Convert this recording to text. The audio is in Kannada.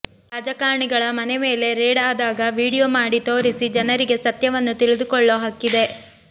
ರಾಜಕಾರಣಿಗಳ ಮನೆ ಮೇಲೆ ರೇಡ್ ಆದಾಗ ವಿಡಿಯೋ ಮಾಡಿ ತೋರಿಸಿ ಜನರಿಗೆ ಸತ್ಯವನ್ನು ತಿಳಿದುಕೊಳ್ಳೋ ಹಕ್ಕಿದೆ